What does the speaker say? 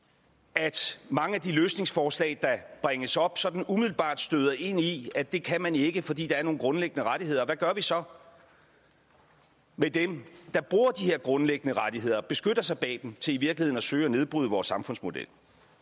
at mange af de løsningsforslag der bringes op sådan umiddelbart støder ind i at det kan man ikke fordi der er nogle grundlæggende rettigheder og hvad gør vi så med dem der bruger de her grundlæggende rettigheder beskytter sig bag dem til i virkeligheden at søge at nedbryde vores samfundsmodel